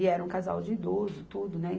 E era um casal de idoso, tudo, né?